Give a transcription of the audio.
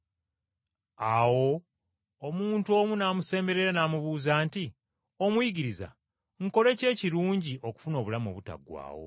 Awo omuntu omu n’amusemberera n’amubuuza nti, “Omuyigiriza, nkole ki ekirungi okufuna obulamu obutaggwaawo?”